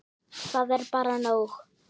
Það er bara nóg.